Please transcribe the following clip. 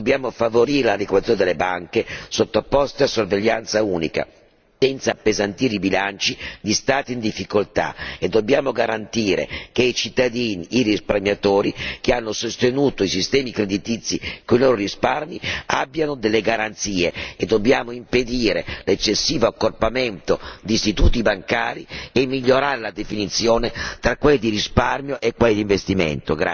Dobbiamo favorire l'integrazione delle banche sottoposte a sorveglianza unica senza appesantire i bilanci degli Stati in difficoltà e dobbiamo garantire che i cittadini, i risparmiatori che hanno sostenuto i sistemi creditizi con i loro risparmi abbiano delle garanzie e dobbiamo impedire l'eccessivo accorpamento di istituti bancari e migliorare la definizione tra quelli di risparmio e quelli di investimento.